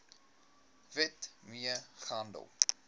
wet mee gehandel